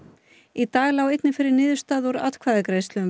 í dag lá einnig fyrir niðurstaða úr atkvæða greiðslu um